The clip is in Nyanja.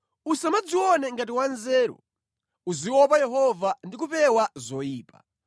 Usamadzione ngati wa nzeru. Uziopa Yehova ndi kupewa zoyipa.